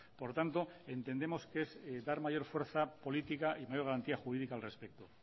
por tanto entendemos que es dar mayor fuerza política y mayor garantía jurídica al respeto